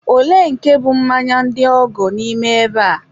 olee nke bụ mmanya ndị ọgọ n'ime ebe a?